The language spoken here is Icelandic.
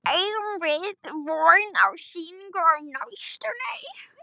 Eigum við von á sýningu á næstunni?